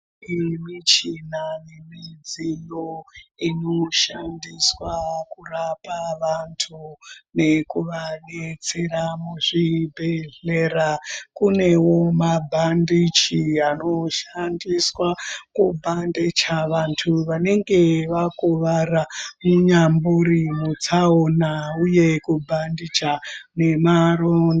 Iyi michina nemidziyo inoshandiswa kurapa vantu nekuvadetsera muzvibhehelera. Kunewo mabhandichi anoshandiswa kubhandicha vantu vanenge vakuvaraa munyambori mutsaona uye kubhandija nemaro...